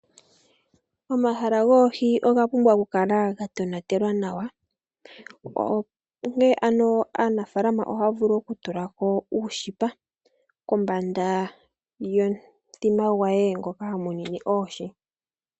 Omahala goohi oga pumbwa oku kala ga tonatelwa nawa, opo ne ano aanafaalama oha ya vulu oku tulsko uushipa kombanda yo mu thima gwe, ngoka ha munine oohi.